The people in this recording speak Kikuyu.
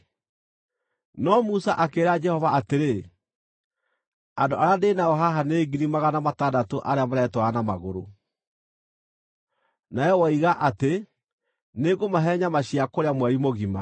No Musa akĩĩra Jehova atĩrĩ, “Andũ arĩa ndĩ nao haha nĩ ngiri magana matandatũ arĩa maretwara na magũrũ, nawe woiga atĩ, ‘Nĩngũmahe nyama cia kũrĩa mweri mũgima!’